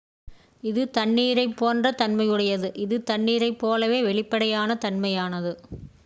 """இது தண்ணீரைப் போன்ற தன்மையுடையது. இது தண்ணீரைப்போலவே வெளிப்படையான தன்மையானது.